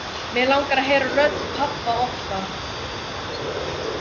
Mig langar að heyra rödd pabba oftar.